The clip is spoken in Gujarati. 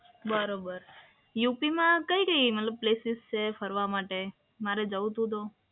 બરોબર, યુપીમાં કઈ કઈ મતલબ પ્લેસીસ છે ફરવા માટે? મારે જવું હતું તો.